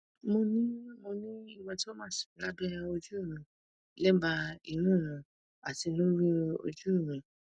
mo ni mo ni hematomas labẹ oju mi lẹba imu mi ati lori oju mi